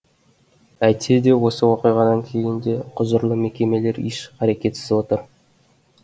әйтсе де осы оқиғадан кейін де құзырлы мекемелер еш қарекетсіз отыр